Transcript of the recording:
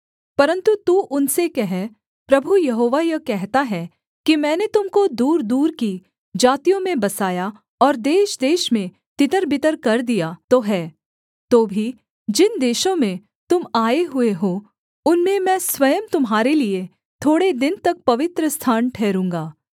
परन्तु तू उनसे कह प्रभु यहोवा यह कहता है कि मैंने तुम को दूरदूर की जातियों में बसाया और देशदेश में तितरबितर कर दिया तो है तो भी जिन देशों में तुम आए हुए हो उनमें मैं स्वयं तुम्हारे लिये थोड़े दिन तक पवित्रस्थान ठहरूँगा